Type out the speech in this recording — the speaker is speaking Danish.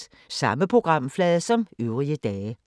Samme programflade som øvrige dage